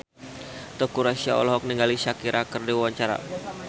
Teuku Rassya olohok ningali Shakira keur diwawancara